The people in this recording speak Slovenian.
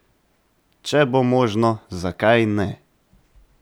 Če bo možno, zakaj ne?